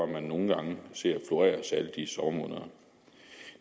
man nogle gange ser florere særlig i sommermånederne